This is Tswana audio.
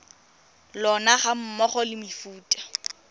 lona ga mmogo le mefuta